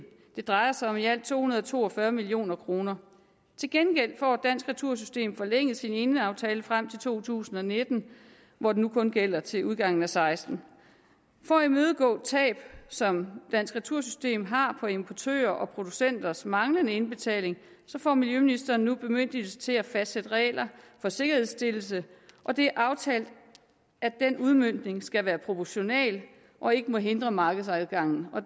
det drejer sig om i alt to hundrede og to og fyrre million kroner til gengæld får dansk retursystem forlænget sin eneaftale frem til to tusind og nitten hvor den nu kun gælder til udgangen og seksten for at imødegå tab som dansk retursystem har på importørers og producenters manglende indbetaling får miljøministeren nu bemyndigelse til at fastsætte regler for sikkerhedsstillelse og det er aftalt at den udmøntning skal være proportional og ikke må hindre markedsadgangen